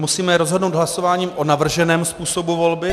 Musíme rozhodnout hlasováním o navrženém způsobu volby.